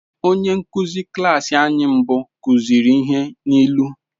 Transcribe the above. Onye nkụzi klas anyị mbụ kụziri ihe n’ilu.